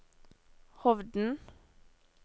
Hovden